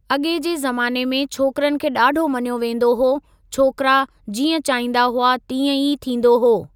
अॻे जे ज़माने में छोकरनि खे ॾाढो मञियो वेंदो हो छोकरा जीअं चाहींदा हुआ तीअं ई थींदो हो।